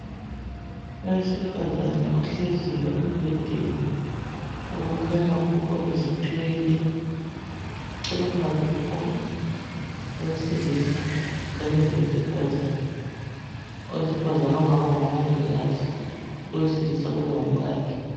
Owesifazana ohleziyo okukhanya ukuba uzithwele eceleni kwakhe kulowesilisa lowesifazana owesifazana angaba ngumomngikazi owesilisa angaba ngumkhakhe